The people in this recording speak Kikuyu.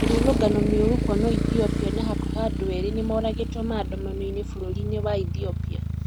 Mĩrũrũngano mĩũru kwonwo ithiopia na hakuhĩ andũ erĩ nĩmoragĩtwo maandamano-inĩ bũrũrĩ-inĩ wa Ethiopia